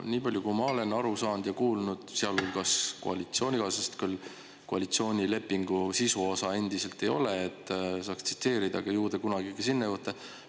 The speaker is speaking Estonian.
Nii palju, kui ma olen aru saanud ja kuulnud, sealhulgas koalitsioonikaaslaselt, koalitsioonilepingu sisuosa endiselt ei ole, et saaks tsiteerida, aga ju te kunagi ka sinna jõuate.